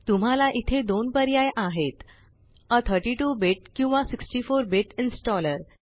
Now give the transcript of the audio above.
तुम्हाला इथे दोन पर्याय आहेत आ 32 बिट किंवा 64 बिट इन्स्टॉलर